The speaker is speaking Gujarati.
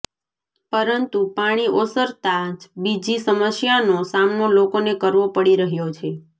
પરંતુ પાણી ઓસરતા જ બીજી સમસ્યાનો સામનો લોકોને કરવો પડી રહ્યો છે